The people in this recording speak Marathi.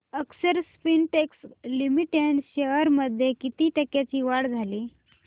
अक्षर स्पिनटेक्स लिमिटेड शेअर्स मध्ये किती टक्क्यांची वाढ झाली